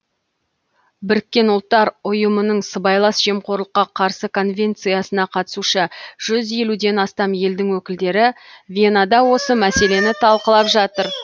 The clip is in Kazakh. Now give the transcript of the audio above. біріккен ұлттыр ұйымының сыбайлас жемқорлыққа қарсы конвенциясына қатысушы жүз елуден астам елдің өкілдері венада осы мәселені талқылап жатыр